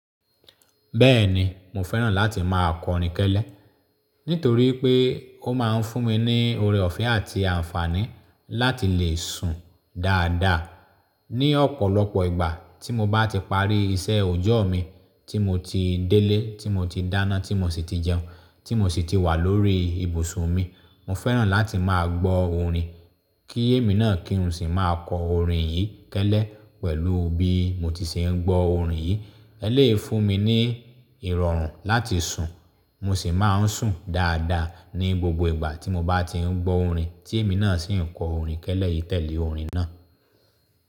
Bẹ́ẹ̀ni, mo fẹ́ràn láti máa kọ orin kẹ́lẹ́ nítorí pé ó máa ń fún mi ní ọrẹ ọ̀fẹ́ àti àǹfààní láti lè sùn dáadáa. Ni ọ̀pọ̀lọpọ̀ ìgbà tí mo bá ti parí iṣẹ́ ọjọ́ mi, tí mo ti délé, tí mo ti dáná, tí mo sì ti jẹun, tí mo sì ti wà lórí ibùsùn mi, mo fẹ́ràn láti máa gbọ́ orin. Kí èmi náà kí n sì máa kọ orin yìí kẹ́lẹ́ pẹ̀lú bí mo ti se ń gbọ́ orin yìí. Ẹlèyi fún mi ní ìrọ̀rùn láti sùn. Mo sì máa ń sùn dáadáa ní gbogbo ìgbà tí mo bá ti ń gbọ́ orin tí èmi náà sì ń kọ orin kẹ́lẹ́ yìí tẹ̀lé orin náà.